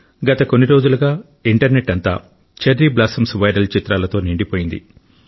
గత కొన్ని రోజులుగా ఇంటర్నెట్ అంతా చెర్రీ బ్లాసమ్స్ వైరల్ చిత్రాలతో నిండిపోయింది